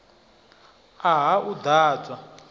a ha u ḓ adzwa